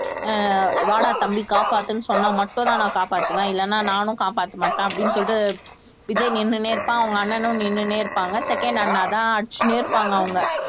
அஹ் வாடா தம்பி காப்பாத்துன்னு சொன்னா மட்டும்தான் நான் காப்பாத்துவேன் இல்லைன்னா நானும் காப்பாத்த மாட்டேன் அப்படின்னு சொல்லிட்டு விஜய் நின்னுட்டே இருப்பான் அவங்க அண்ணனும் நின்னுன்னே இருப்பாங்க second அண்ணாதான் அடிச்சுன்னே இருப்பாங்க அவங்க